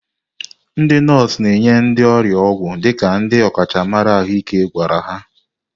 Ndị nọọsụ na-enye ndị ọrịa ọgwụ dịka ndị ọkachamara ahụike gwara ha.